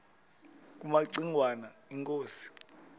kumaci ngwana inkosi